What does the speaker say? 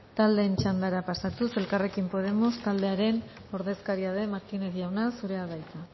taldeen txandara pasatuz elkarrekin podemos taldearen ordezkaria den martínez jauna zurea da hitza